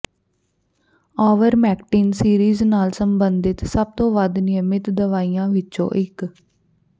avermectin series ਨਾਲ ਸਬੰਧਿਤ ਸਭ ਤੋਂ ਵੱਧ ਨਿਯਮਤ ਦਵਾਈਆਂ ਵਿੱਚੋਂ ਇੱਕ